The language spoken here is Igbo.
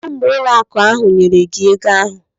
Kedu mgbe ụlọ akụ ahụ nyere gị ego ahụ?